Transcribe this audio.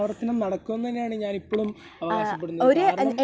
തനിയാവർത്തനം നടക്കും എന്ന് തന്നെയാണ് ഞാൻ ഇപ്പളും അവകാശപ്പെടുന്നത്. കാരണം